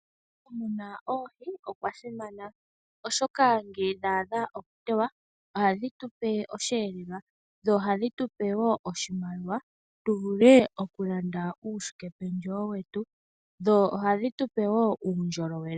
Okumuna oohi okwasimana, oshoka ngele dha adha okutewa ohadhi tupe osheelelwa. Dho ohadhi tupe wo oshimaliwa opo tuvu le okulanda uukwashikependjewo wetu. Ohadhi tu pe wo uundjolowele.